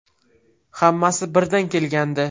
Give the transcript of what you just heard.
Hammasi birdan kelgandi.